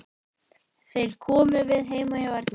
Þeir komu við heima hjá Erni.